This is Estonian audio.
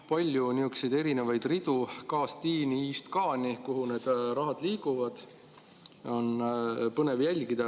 Palju on niisuguseid erinevaid ridu, k‑st i‑ni, i‑st k‑ni, kuhu need rahad liiguvad, on põnev jälgida.